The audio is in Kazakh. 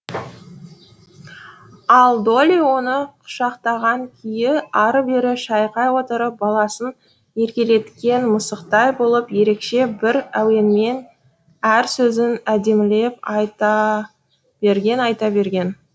ал долли оны құшақтаған күйі ары бері шайқай отырып баласын еркелеткен мысықтай болып ерекше бір әуенмен әр сөзін әдемілеп айта берген айта берген